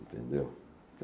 Entendeu?